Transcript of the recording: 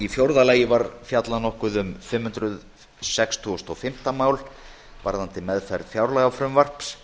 í fjórða lagi var fjallað nokkuð um fimm hundruð sextugustu og fimmta mál um meðferð fjárlagafrumvarps